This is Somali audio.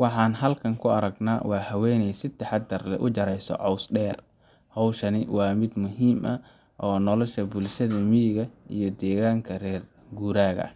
Waxa aan halkan ka aragnaa haweeney si taxaddar leh u jaraysa caws dheer, hawshan oo ah mid muhiim u ah nolosha bulshada miyiga iyo deegaanada reer guuraaga.